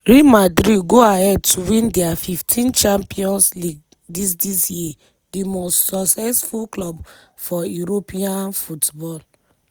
real madrid go ahead to win dia 15th champions league dis dis year di most successful club for european football.